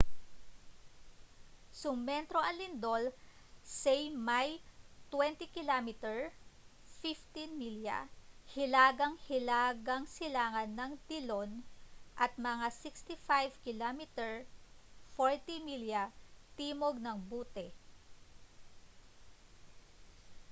sumentro ang lindol say may 20 km 15 milya hilaga-hilagang silangan ng dillon at mga 65 km 40 milya timog ng butte